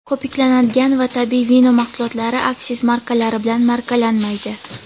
ko‘piklanadigan va tabiiy vino mahsulotlari aksiz markalari bilan markalanmaydi.